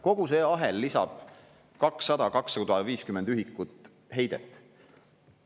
Kogu see ahel lisab 200–250 ühikut heidet.